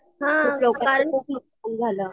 हां कारण